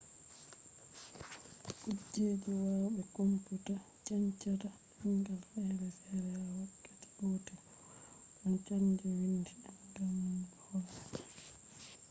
kuje waya be komputa chanjata demgal fere fere ha wakkati gotel – wawan chanja windi demgal man be hore magaa